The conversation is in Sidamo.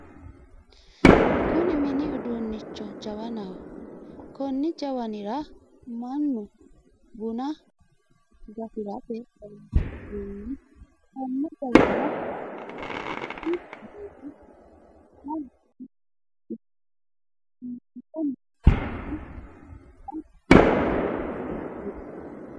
Kunni minni uduunicho jawannaho. Konni jawannira mannu bunna gafirate horoonsi'nanni. Konne jawanna bacichu aanna giira wore iibite noo giirara bunna ganfe hee'nonni.